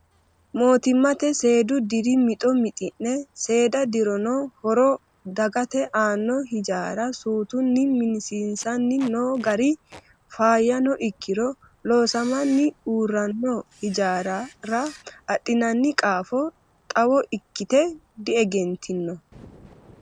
Mootimma seedu diri mixo mixidhe seeda dirono horo dagate aano hijaara suutunni minsiisani no gari faayyano ikkiro loosamani uurrano hijaarara adhinanni qaafo xawo ikkite diegentino.